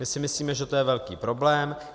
My si myslíme, že to je velký problém.